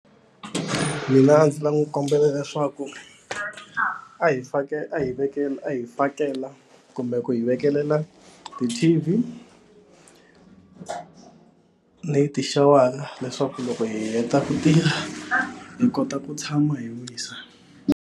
Mina a ndzi ta n'wi kombela leswaku a hi fakela a hi vekela a hi fakela kumbe ku hi vekelela ti-T_V tixawara leswaku loko hi heta ku tirha hi kota ku tshama hi wisa.